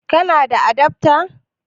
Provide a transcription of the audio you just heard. Kana da adafta?